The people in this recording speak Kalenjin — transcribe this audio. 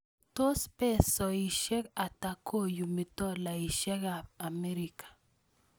Tos' pesoisiek ata koyumi tolaisiekap Amerika